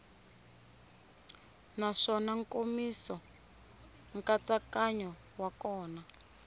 naswona nkomiso nkatsakanyo wa kona